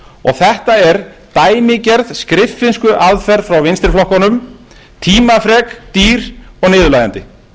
og þetta er dæmigerð skriffinnskuaðferð frá vinstri flokkunum tímafrek dýr og niðurlægjandi